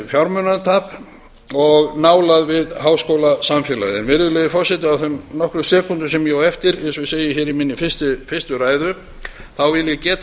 óbeint fjármunatap og nálægð við háskólasamfélagið virðulegi forseti á þeim fáu sekúndum sem ég á eftir hér í minni fyrstu ræðu vil ég